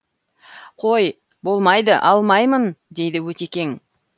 қой болмайды алмаймын дейді өтекең